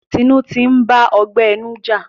Tinu ntì ba ọgbẹ inu ja.